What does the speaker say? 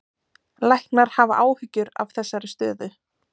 Læknar hafa áhyggjur af þessari stöðu